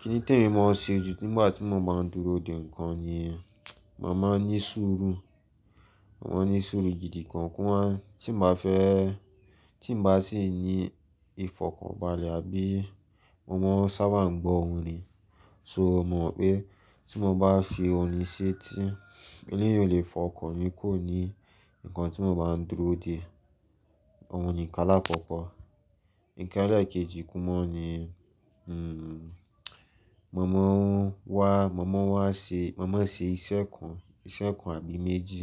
Kíni tèmi máa ṣe jù nígbà tí mo máa ń dúró dè ńkan ni, màá máa ní sùúrù. Màá ní sùúrù gidi gangan tí n bá fẹ́, tí n bá sì ní ìfọ̀kànbalẹ̀ àbí mo máa sábà gbọ́ orin. So, mo pé tí mo bá fi orin sí etí, ilé yìí ò lè fọkàn ni kò ní ńkan tí mo máa ń dúró dè. Ọ̀ún ni ìkan lakoko. Ǹkan ẹlẹ́ẹ̀kejì kú mọ́ ni, mo máa wá, mo máa wá ṣe, mo máa ṣe iṣẹ́ kan, iṣẹ́ kan àbí méjì